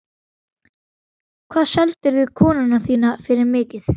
Hvað seldirðu konuna þína fyrir mikið?